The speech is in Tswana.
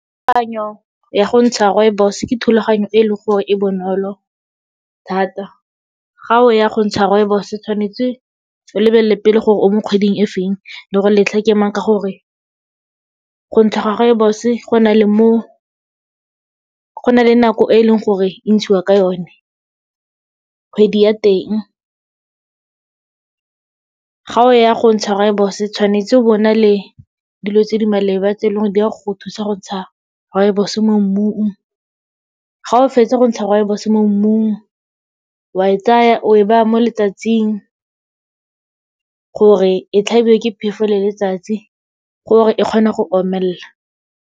Kakanyo ya go ntsha rooibos ke thulaganyo e leng gore e bonolo thata. Ga o ya go ntsha rooibos, tshwanetse o lebelele pele gore o mo kgweding e feng, le gore letlha ke mang ka gore, go ntsha ga rooibos-e go na le nako e leng gore e ntshiwa ka yone, kgwedi ya teng. Ga o ya go ntsha rooibos-e, tshwanetse bo na le dilo tse di maleba tse leng gore di a go thusa go ntsha rooibos-e mo mmung. Ga o fetsa go ntsha rooibos-e mo mmung, wa e tsaya o e baya mo letsatsing gore e tlhabiwe ke phefo le letsatsi, gore e kgone go omelela.